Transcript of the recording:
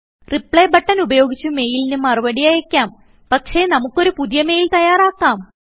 reply button ഉപയോഗിച്ച് മെയിലിന് മറുപടി അയക്കാം പക്ഷേ നമുക്ക് ഒരു പുതിയ മെയിൽ തയ്യാറാക്കാം